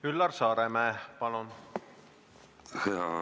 Üllar Saaremäe, palun!